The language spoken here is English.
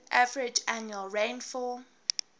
average annual rainfall